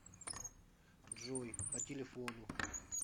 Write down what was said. джой по телефону